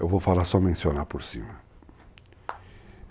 Eu vou falar, só mencionar por cima.